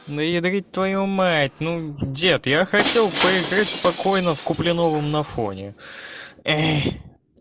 ну едрить твою мать ну дед я хотел поиграть спокойно с куплиновым на фоне эй